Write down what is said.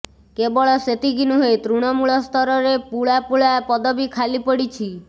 କେବଳ ସେତିକି ନୁହେଁ ତୃଣମୂଳସ୍ତରରେ ପୁଳା ପୁଳା ପଦବି ଖାଲି ରହିଛି